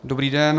Dobrý den.